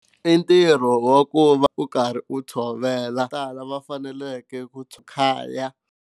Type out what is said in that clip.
I ntirho wa ku va u karhi u tshovela vo tala va faneleke ku Khaya.